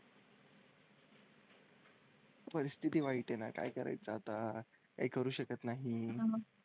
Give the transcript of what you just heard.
परिस्थिती वाईट आहे ना काय करायचं आता, काही करू शकत नाही.